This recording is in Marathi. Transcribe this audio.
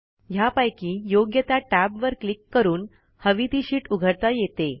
ह्यापैकी योग्य त्या टॅबवर क्लिक करून हवी ती शीट उघडता येते